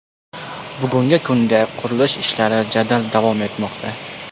Bugungi kunda qurilish ishlari jadal davom etmoqda.